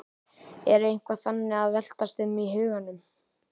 Er eitthvað þannig að veltast um í huganum?